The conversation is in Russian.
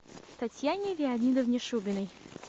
татьяне леонидовне шубиной